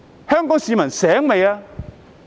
香港市民清醒了嗎？